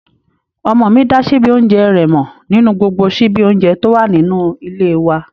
Ọmọ mi dá síbí oúnjẹ rẹ̀ mọ̀ nínú gbogbo síbí oúnjẹ tó wà nínú ilé e wa